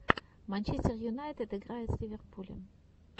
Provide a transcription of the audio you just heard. манчестер юнайтед играет с ливерпулем